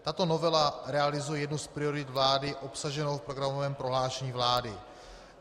Tato novela realizuje jednu z priorit vlády obsaženou v programovém prohlášení vlády.